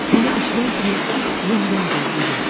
Bunu eşidən kimi yenidən gözünü yumdu.